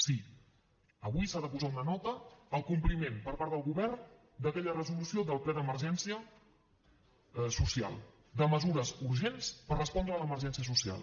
sí avui s’ha de posar una nota al compliment per part del govern d’aquella resolució del ple d’emergència social de mesures urgents per respondre a l’emergència social